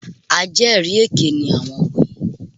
Ajẹ́rìí èké ni àwọn wọ̀nyí.